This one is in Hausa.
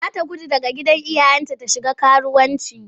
Za ta gudu daga gidan iyayenta ta shiga karuwanci.